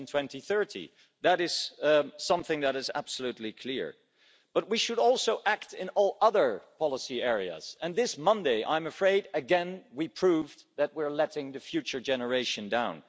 2030. That is something that is absolutely clear. But we should also act in all other policy areas and this Monday, I'm afraid, again, we proved that we are letting the future generation down.